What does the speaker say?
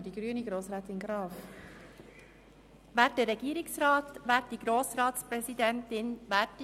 Für die grüne Fraktion spricht Grossrätin Graf.